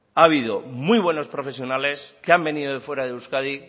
ha habido muy buenos profesionales que han venido de fuera de euskadi